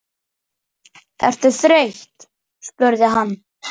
Ertu þreytt? spurði hann.